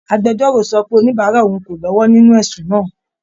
Agbẹjọ́rò sọ pé oníbàárà òun kò lọ́wọ́ nínú ẹ̀sùn náà